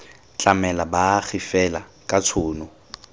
tlamela baagi fela ka tshono